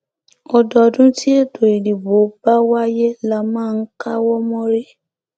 ọdọọdún tí ètò ìdìbò bá wáyé la máa ń káwọ mórí